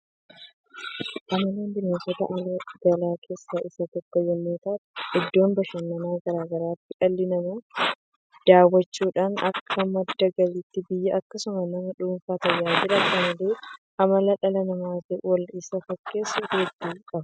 Qamaleen bineensota ala galan keessa isa tokko yemmuu ta'u iddoo bashannanaa garaa garaatti dhalli namaa daawwachuudhaan akka madda galiitti biyya akkasumas nama dhuunfaa tajaajilaa. Qamaleen amala dhala namaatiin wol isa fakkeessu hedduu qaba.